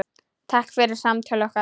Takk fyrir samtöl okkar.